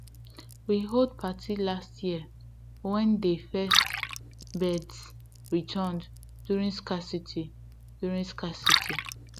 we hold party last year wen dey first birds returned during scarcity during scarcity